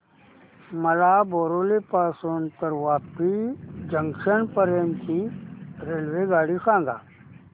मला बोरिवली पासून तर वापी जंक्शन पर्यंत ची रेल्वेगाडी सांगा